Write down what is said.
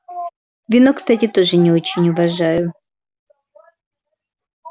вино кстати тоже не очень уважаю